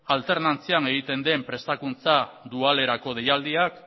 alternantzian egiten den prestakuntza dualerako deialdiak